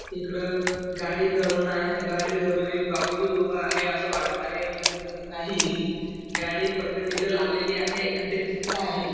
इकड गाडी धरून आहे गाडी धरून एक बाबूजी उभा आहे अस वाटत आहे पण ते तस नाही गाडी फक्त तिथ लावलेली आहे अन ते चित्र आहे.